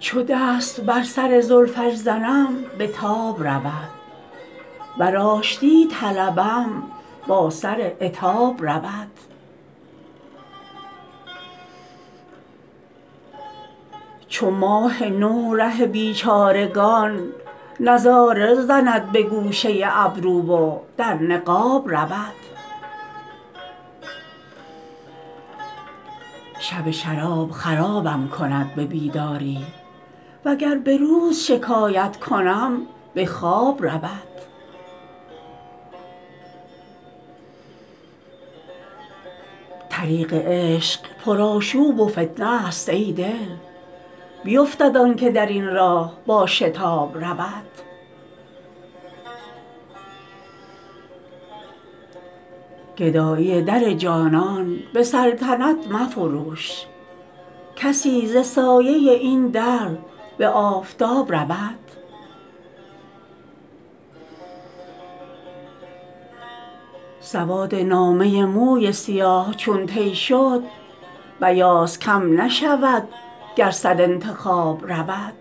چو دست بر سر زلفش زنم به تاب رود ور آشتی طلبم با سر عتاب رود چو ماه نو ره بیچارگان نظاره زند به گوشه ابرو و در نقاب رود شب شراب خرابم کند به بیداری وگر به روز شکایت کنم به خواب رود طریق عشق پرآشوب و فتنه است ای دل بیفتد آن که در این راه با شتاب رود گدایی در جانان به سلطنت مفروش کسی ز سایه این در به آفتاب رود سواد نامه موی سیاه چون طی شد بیاض کم نشود گر صد انتخاب رود